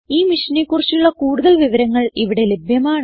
ഈ മിഷനെ കുറിച്ചുള്ള കുടുതൽ വിവരങ്ങൾ ഇവിടെ ലഭ്യമാണ്